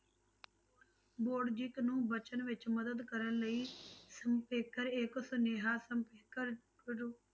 ਨੂੰ ਵਚਨ ਵਿੱਚ ਮਦਦ ਕਰਨ ਲਈ ਸਪੇਖਰ ਇੱਕ ਸਨੇਹਾ ਸਪੇਖਰ